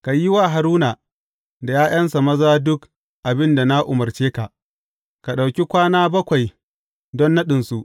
Ka yi wa Haruna da ’ya’yansa maza duk abin da na umarce ka, ka ɗauki kwana bakwai don naɗinsu.